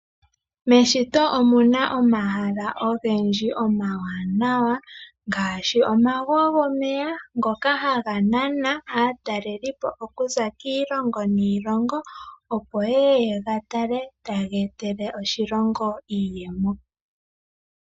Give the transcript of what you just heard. Meshito omu na omahala ogendji omawanawa ngaashi, omago gomeya ngoka haga nana aataleli po oku za kiilongo niilongo opo yeye ye ga tale taga etele oshilongo iiyemo.